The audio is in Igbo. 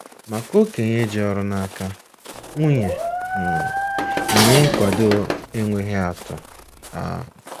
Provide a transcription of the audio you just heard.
Maka okenye ji ọrụ n'aka, nwunye um na-enye nkwado enweghị atụ! um